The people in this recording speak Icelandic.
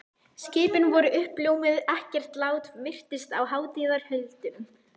Skipin voru uppljómuð, ekkert lát virtist á hátíðarhöldunum.